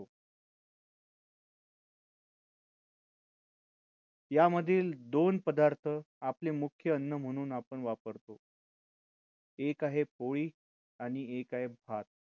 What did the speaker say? यामधील दोन पदार्थ आपली मुख्य अन्न म्हणून आपण वापरतो एक आहे पोळी आणि एक आहे भात